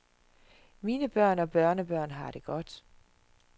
Mine børn og børnebørn har det godt.